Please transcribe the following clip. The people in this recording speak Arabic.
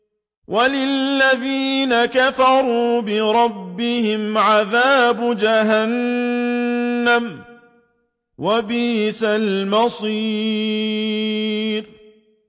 وَلِلَّذِينَ كَفَرُوا بِرَبِّهِمْ عَذَابُ جَهَنَّمَ ۖ وَبِئْسَ الْمَصِيرُ